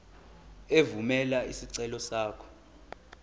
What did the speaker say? evumela isicelo sakho